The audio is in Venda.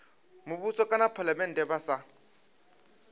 muvhuso kana phalamennde vha sa